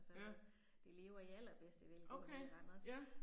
Ja. Okay, ja